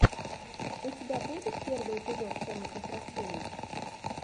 у тебя будет первый эпизод комнатных растений